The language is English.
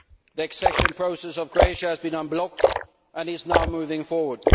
The accession process of Croatia has been unblocked and is now moving forward.